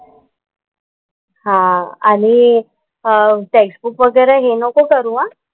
हां आणि अं टेक्स्टबुक वगैरे हे नको करू हां.